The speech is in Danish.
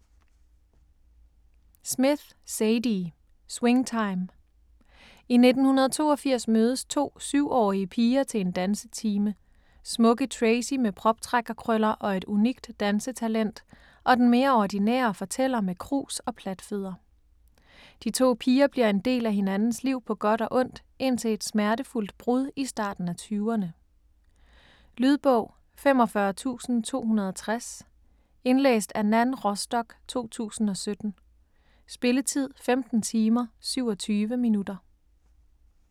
Smith, Zadie: Swing time I 1982 mødes to 7-årige piger til en dansetime; Smukke Tracey med proptrækkerkrøller og et unikt dansetalent og den mere ordinære fortæller med krus og platfødder. De to piger bliver en del af hinandens liv på godt og ondt indtil et smertefuldt brud i starten af 20'erne. Lydbog 45260 Indlæst af Nan Rostock, 2017. Spilletid: 15 timer, 27 minutter.